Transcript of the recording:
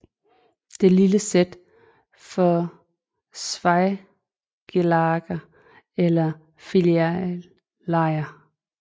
Det lille z står for Zweiglager eller filiallejr